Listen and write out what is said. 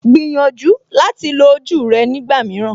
Gbìyànjú láti lo ojú rẹ nígbà mìíràn